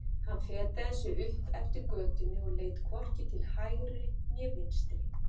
Hann fetaði sig upp eftir götunni og leit hvorki til hægri né vinstri.